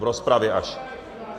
V rozpravě až.